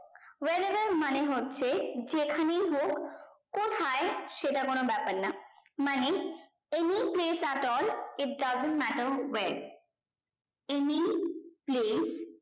where above মানে হচ্ছে যেখানেই হোক কোথায় সেটা কোনো ব্যাপার না মানে any place at all if doesn't matter wave any place